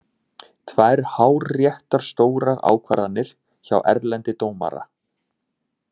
Tvær hárréttar stórar ákvarðanir hjá Erlendi dómara.